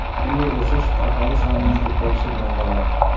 bunday o‘sish aholi sonining ko‘payishi bilan bog‘liq.